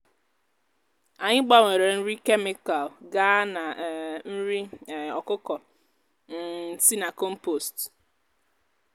anyị gbanwere nri kemịkal gaa na um nri um ọkụkọ um si na kọmpost.